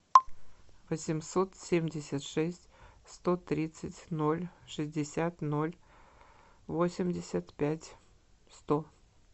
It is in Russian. восемьсот семьдесят шесть сто тридцать ноль шестьдесят ноль восемьдесят пять сто